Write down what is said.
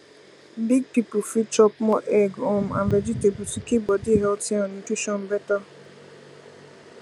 big people fit chop more egg um and vegetable to keep body healthy and nutrition better